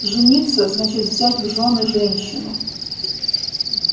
жениться значит взять в жены женщину